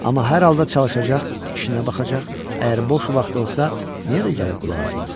Amma hər halda çalışacaq, işinə baxacaq, əgər boş vaxtı olsa niyə də gəlib qulaq asmasın?